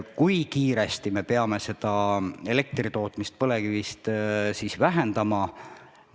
Kui kiiresti me peame elektri tootmist põlevkivist vähendama?